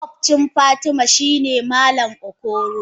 Makobcin fatima shine malam okoro.